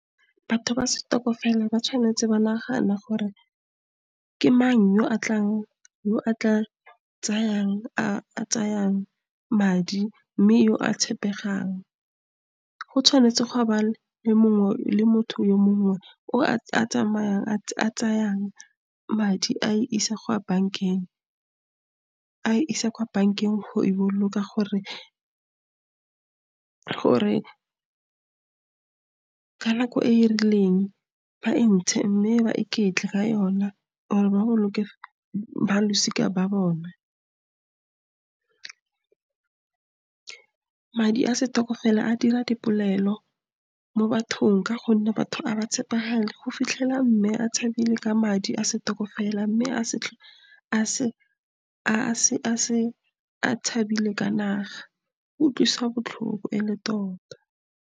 Batho ba stokvel ba tshwanetse ba nagana gore ke mang yo a tla tsayang madi, mme yo o tshepegang. Go tshwanetse gwa ba le le motho a le mongwe yo a tsayang madi a isa kwa bankeng go a boloka , gore ka nako e e rileng ba ntshe, mme ba iketle ka yona gore ba boloke ba losika la bone. Madi a stokvel a dira dipolelo mo bathong, ka gonne batho ga ba tshepagale. O fitlhela Mme a tshabile ka madi a stokvel, mme a tshabile ka naga, go utlwisa botlhoko e le tota.